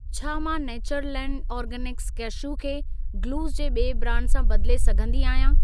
छा मां Natureland Organics cashew खे गलुस जे ॿिए ब्रांड सां बदिले सघंदी आहियां?